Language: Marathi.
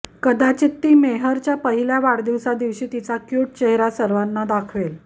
कदाचित ती मेहरच्या पहिल्या वाढदिवसादिवशी तिचा क्युट चेहरा सर्वांना दाखवेल